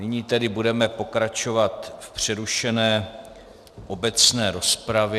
Nyní tedy budeme pokračovat v přerušené obecné rozpravě.